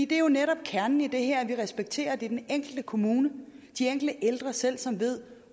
det er jo netop kernen i det her altså at vi respekterer at det er den enkelte kommune den enkelte ældre selv som ved